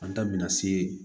An ta bɛna se